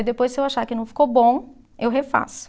Aí depois se eu achar que não ficou bom, eu refaço.